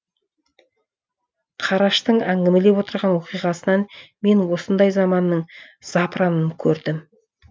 қараштың әңгімелеп отырған оқиғасынан мен осындай заманның запыранын көрдім